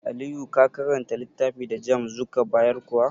Aliyu ka karanta littafi da JAMB zuka bayar kuwa?